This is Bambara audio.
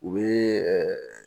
U bɛ